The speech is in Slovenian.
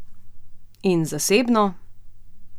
In zasebno?